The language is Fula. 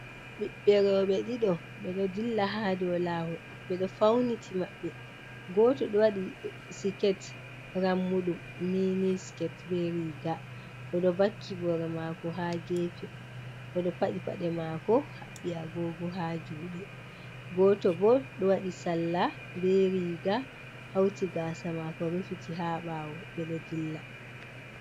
Ɓiɓɓe roɓɓe ɗiɗo ɓedo dilla ha do lawol ɓeɗo fauniti maɓɓe goto ɗo wadi siket rammudum mini sket be riga odo vaki boro mako ha gefe odo padi pade mako haɓɓi a gogo ha jude, goto bo ɗo waɗi salla be riga hauti gasa mako rufiti ha bawo ɓedo dilla.